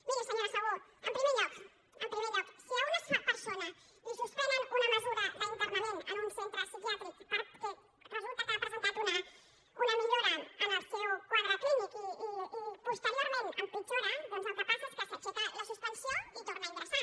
miri senyora segú en primer lloc en primer lloc si a una persona li suspenen una mesura d’internament en un centre psiquiàtric perquè resulta que ha presentat una millora en el seu quadre clínic i posteriorment empitjora doncs el que passa és que s’aixeca la suspensió i torna a ingressar